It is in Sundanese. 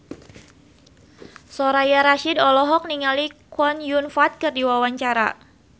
Soraya Rasyid olohok ningali Chow Yun Fat keur diwawancara